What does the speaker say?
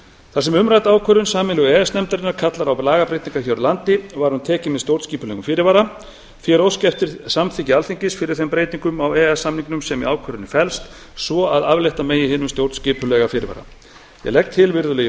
þar sem umrædd ákvörðun sameiginlegu e e s nefndarinnar kallar á lagabreytingar hér á landi var hún tekin með stjórnskipulegum fyrirvara því er óskað eftir samþykki alþingis fyrir þeim breytingum á e e s samningnum sem í ákvörðuninni e b st svo að aflétta megi hinum stjórnskipulega fyrirvara ég legg til virðulegi